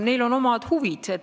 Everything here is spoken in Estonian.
Neil on omad huvid.